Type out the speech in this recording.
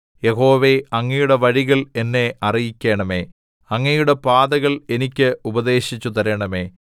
യഹോവേ അങ്ങയുടെ വഴികൾ എന്നെ അറിയിക്കണമേ അങ്ങയുടെ പാതകൾ എനിക്ക് ഉപദേശിച്ചു തരണമേ